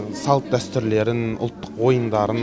салт дәстүрлерін ұлттық ойындарын